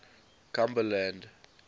cumberland